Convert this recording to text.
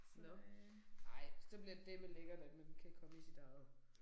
Nåh ej så bliver det dæleme lækkert at man kan komme i sit eget